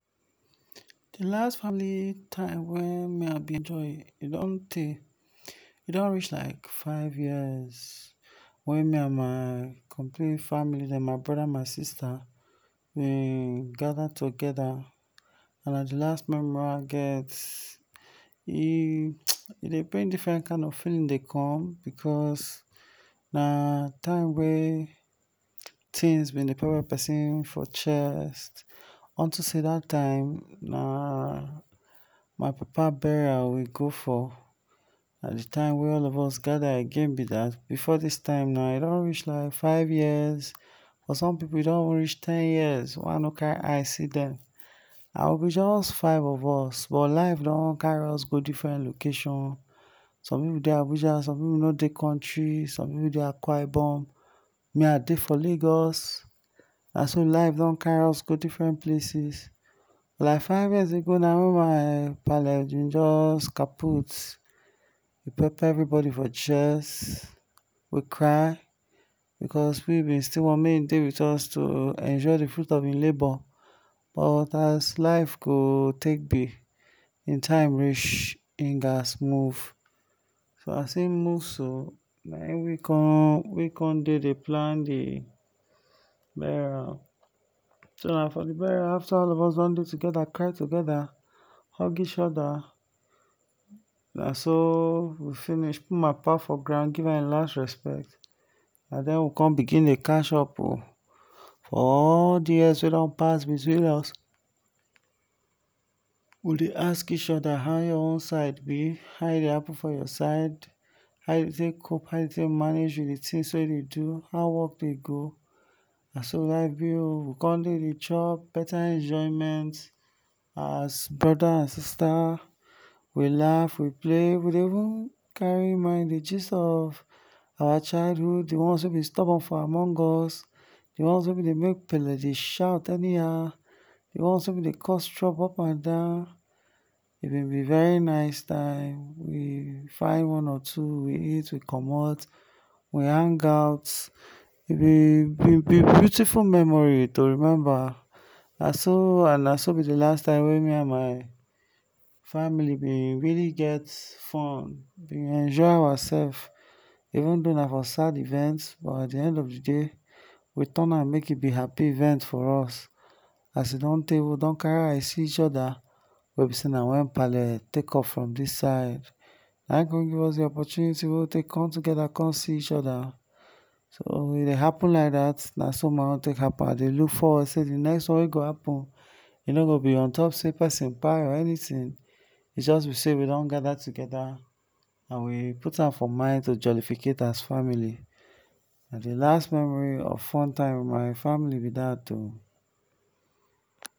D last family time wey me I bin join e don tay, e don reach like five years, wey me and my complete family den, my broda and sista we gather togeda and na d last memory wey I get and e dey um bring different kind of feeling dey come, because na time wey things bin dey pepper persin for chest, onto say dat time na, my papa burial we go for, na d time wey all of us gather again b dat, before dis time e don reach like five years, for some pipu e don reach ten years wey I no carry eye see dem, na just five of us but life don carry us go different location, some pipu dey Abuja, some pipu no dey country, some pipu dey akwa ibom, me I dey for lagos, naso life don carry us go different places, like five years ago na hin ma pale bin jus kaput, pepper everybody for chest, we cry, because we we still want make he dey with us to enjoy d fruit of hin labour, but as life go take b, hin time reach, hin gats move, so as hin move so, na we con dey dey plan d burial, so na for d burial afta all of us don do togeda, cry togeda, hug each oda, naso we finish put my papa for ground, give am hin last respect na den we con begin dey catch up o, for all d years we don dey between us we dey ask each oda how your own side b, how e dey happen for your side, how u dey take cope how you dey take manage with d things wey you dey do, how work dey go, naso life b oh, we con dey dey chop beta enjoyment as broda and sista we laugh we play, we dey even carry mind dey gist of our childhood, d one wey bin stubborn from among us, d ones wey been dey make pale bin dey shout anyhow, d ones wey been dey cause trouble up and down, e b very nice time, we find one or two, we eat we commot, we hang out, beautiful memory to remember, naso b d last time wey me and my family bin really get fun, we enjoy our self, even thon na for sad event, but at the end of di day we turn am make e b happy event for us, as e don tey we carry our eyes see each oda, wey b sey na wen pale take off from dis side, na him come give us d opportunity wey we con take con see each oda, so e dey happen like dat, naso my own take happen, I dey look forward sey d next one go happen, e no go b untop sey persin kpai or anything, e go just b sey we don gather togeda and we put am for mind to jolificate as family. Na d last memory of fun time with my family b dat o.